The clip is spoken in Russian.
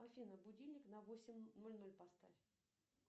афина будильник на восемь ноль ноль поставь